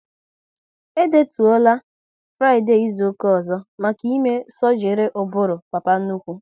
E detuola Fraịdee izuka ọzọ maka ime sọgri ụbụrụ papa nnukwu